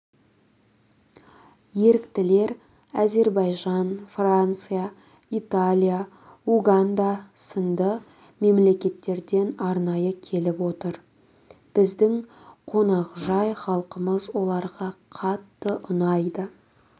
еріктілер әзербайжан франция италия уганда сынды мемлекеттерден арнайы келіп отыр біздің қонақжай халқымыз оларға қатты ұнайды